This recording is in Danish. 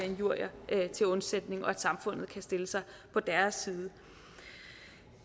injurier til undsætning og at samfundet kan stille sig på deres side